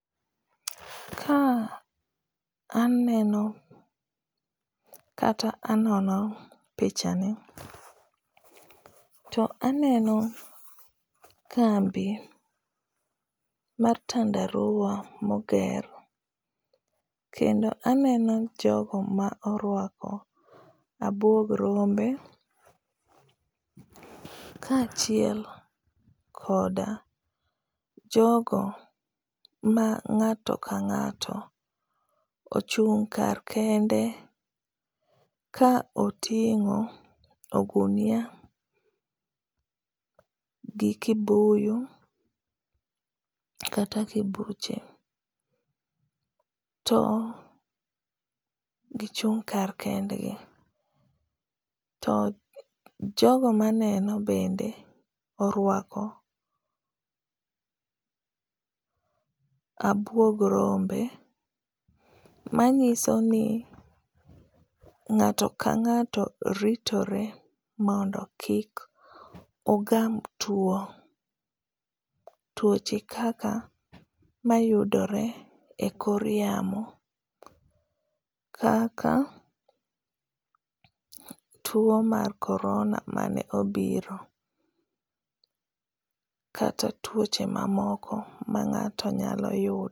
Kaa aneno kata anono picha ni to aneno kambi mar tandarua moger kendo aneno jogo ma orwako abuog rombe ka achiel koda jogo ma ng’ato ka ng’ato ochung kar kende ka oting’o ogunia gi kibuyu kata kibuche, to gichung’ kar kendgi. To jogo maneno bende oruako abuog rombe manyiso ni ng’ato ka ng’ato ritore mondo kik ogam tuo, tuoche kaka mayudore e kor yamo kaka tuo mar corona mane obiro kata tuoche mamoko ma ng’ato nyalo yudo